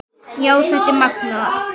Já, þetta er magnað.